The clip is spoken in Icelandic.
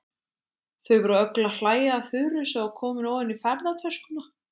Þau voru öll að hlæja að Þuru sem var komin ofan í ferðatöskuna.